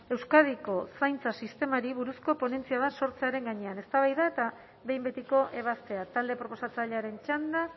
euskadiko zaintza sistemari buruzko ponentzia bat sortzearen gainean eztabaida eta behin betiko ebazpena talde proposatzailearen txanda